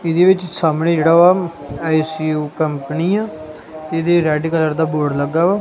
ਇਹਦੇ ਵਿੱਚ ਸਾਹਮਣੇ ਜਿਹੜਾ ਵਾ ਆਈ ਸੀ ਯੂ ਕੰਪਨੀ ਆ ਤੇ ਇਹਦੇ ਵਿਚ ਰੈਡ ਕਲਰ ਦਾ ਬੋਰਡ ਲੱਗਾ ਵਾ।